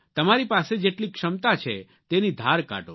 તમારી પાસે જેટલી ક્ષમતા છે તેની ધાર કાઢો